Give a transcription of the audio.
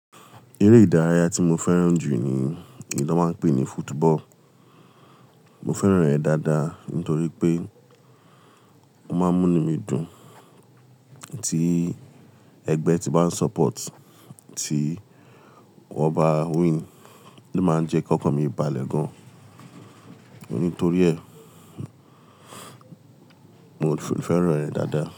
Eré ìdárayá tí mo fẹ́ràn jù ni, èyí tí wọ́n máa ń pè ní football. Mo fẹ́ràn rẹ̀ dáadáa nítorí pé ó máa ń múni mi dùn. Tí ẹgbẹ́ tí màá ń ba support tí wọ́n bá win, ló máa ń jẹ́ k'okàn mi balẹ̀ gan. Nítorí ẹ, mo fẹ́ràn rẹ̀ dáadáa.